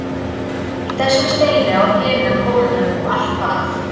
Í þessum steini og hinum hólnum og allt það.